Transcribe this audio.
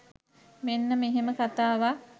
මෙන්න මෙහෙම කතාවක්.